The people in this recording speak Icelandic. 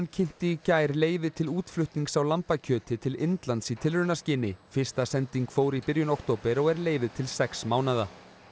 kynnti í gær leyfi til útflutnings á lambakjöti til Indlands í tilraunaskyni fyrsta sending fór í byrjun október og er leyfið til sex mánaða